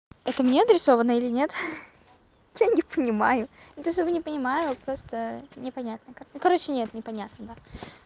это мне адресовано или нет я не понимаю не то что бы не понимаю просто не понятно как я короче нет не понятно да